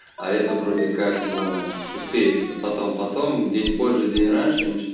а это вроде как но успеется потом потом день позже день раньше ничего